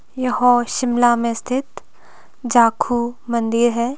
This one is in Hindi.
यह शिमला में स्थित जाखू मंदिर है।